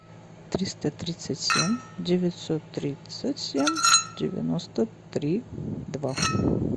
триста тридцать семь девятьсот тридцать семь девяносто три два